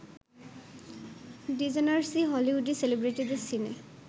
ডিজেনার্সই হলিউডি সেলিব্রিটিদের সিনে